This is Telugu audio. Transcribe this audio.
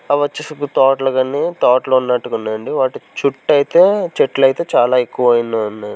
అవి వచ్చేసి తోటలు గాని తోటలు ఉన్నట్టుగా ఉన్నాయండి వాటి చుట్ట అయితే చెట్లు అయితే చాలా ఎక్కువగా ఉన్న--